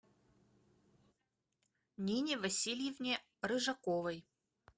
нине васильевне рыжаковой